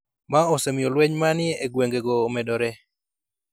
ma osemiyo lweny ma ni e gwengego omedore.